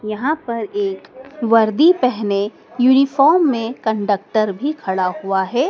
यहां पर एक वर्दी पेहने यूनिफॉर्म में कंडक्टर भी खड़ा हुआ है।